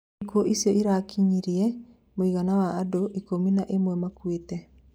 Ikuo icio irakinyeria mũigana wa andũ ikũmi na ĩmwe makuĩte